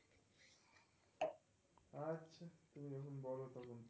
আহ তুমি যখন বল তখন.